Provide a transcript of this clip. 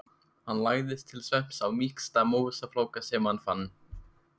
Hann lagðist til svefns á mýksta mosafláka sem hann fann.